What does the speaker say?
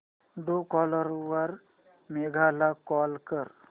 Truecaller वर मेघा ला call कर